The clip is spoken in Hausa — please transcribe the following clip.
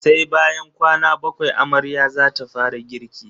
Sai bayan kwana bakwai amarya zata fara girki.